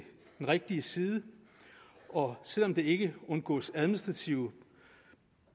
den rigtige side og selv om der ikke undgås administrative